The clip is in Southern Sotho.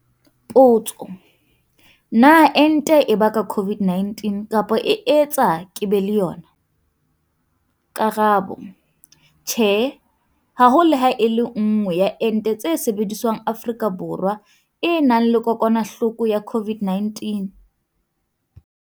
Potso- Na ente e baka COVID-19 kapa e etsa ke be le yona? Karabo- Tjhe. Ha ho le ha e le nngwe ya ente tse sebediswang Afrika Borwa e nang le kokwanahloko ya COVID-19.